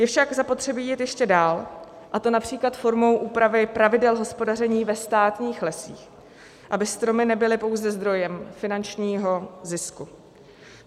Je však zapotřebí vidět ještě dál, a to například formou úpravy pravidel hospodaření ve státních lesích, aby stromy nebyly pouze zdrojem finančního zisku.